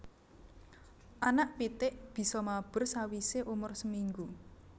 Anak pitik bisa mabur sawisé umur seminggu